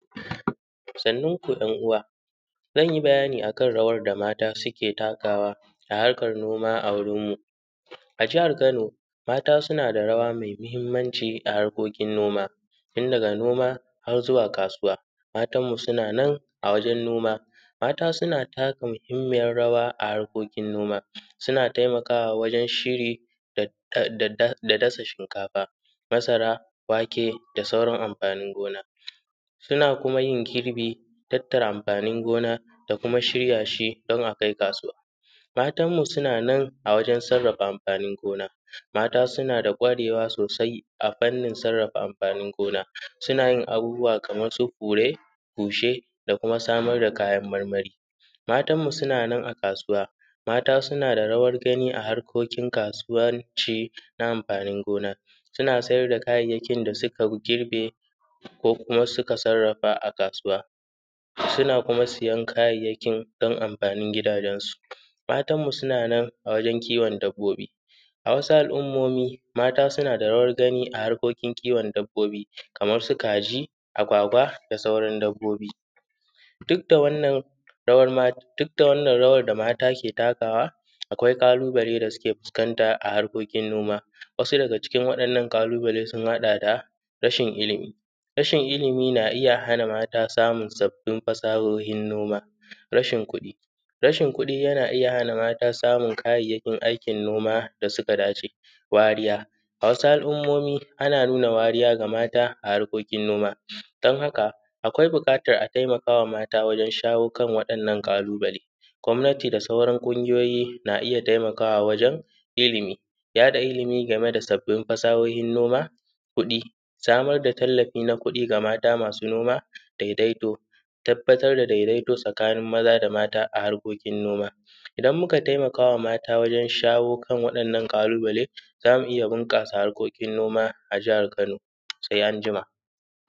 sannun ku ‘yan uwa zan yi bayani a kan rawar da mata suke takawa da harkar noma a gurin mu a jahar kano mata suna da rawa mai mahimmanci a harkokin noma tunda ga noma har zuwa kasuwa matan mu suna nan a wajan noma mata suna taka muhimmiyar rawa a harkokin noma suna taimakawa wajan shiri da dasa shinkafa masara wake da sauran amfanin gona suna kuma yin girbi tattara amfanin gona da kuma shirya shi don a kai kasuwa matan mu suna nan a wajan sarrafa amfanin gona mata suna da ƙwarewa sosai a fannin sarrafa amfanin gona suna yin abubuwa kaman su kore bushe da kuma samar da kayan marmari matan mu suna nan a kasuwa mata suna da rawar gani a harkokin kasuwanci na amfanin gona suna siyar da kayayyakin da suka girbe ko kuma suka sarrafa a kasuwa suna kuma siyan kayayyakin don amfanin gidajensu matan mu suna nan a wajan kiwon dabbobi a wasu al’ummomi mata suna da rawar gani a harkokin kiwon dabbobi kamar su kaji agwagwa da sauran dabbobi duk da wannan rawar da mata ke takawa akwai ƙalubale da su ke fuskanta a harkokin noma wasu daga cikin wa’innan ƙalubale sun haɗa da rashin ilimi rashin ilimi na iya hana mata samun sabbin fasahohin noma rashin kuɗi rashin kuɗi yana iya hana mata samun kayayyakin aikin noma da suka dace wariya a wasu al’ummomi ana nuna wariya ga mata a harkokin noma don haka akwai buƙatar a taimaka ma mata wajen shawo kan waɗannan ƙalubale gwamnati da sauran ƙungiyoyi na iya taimakawa wajan ilimi yaɗa ilimi game da sabbin fasahohin noma kuɗi samar da tallafi na kuɗi ga mata masu noma daidaito tabbatar da daidaito tsakanin maza da mata a harkokin noma idan muka taimakawa mata wajan shawo kan waɗannan ƙalubale za mu iya bunƙasa harkokin noma a jahar kano sai anjima